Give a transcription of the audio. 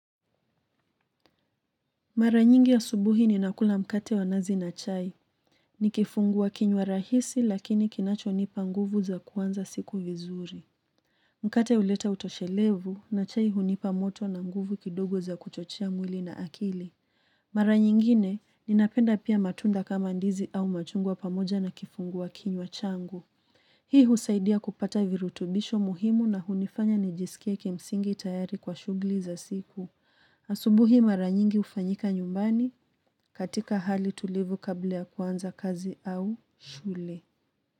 Mara nyingi ya asubuhi ninakula mkate wanazi na chai. Ni kifungua kinywa rahisi lakini kinacho nipa nguvu za kuanza siku vizuri. Mkate huleta utoshelevu na chai hunipa moto na nguvu kidogo za kuchochea mwili na akili. Mara nyingine ni napenda pia matunda kama ndizi au machungwa pamoja na kifungua kinywa changu. Hii husaidia kupata virutubisho muhimu na hunifanya nijisikie kimsingi tayari kwa shughuli za siku. Asubuhi mara nyingi ufanyika nyumbani. Katika hali tulivu kabla ya kuanza kazi au shule.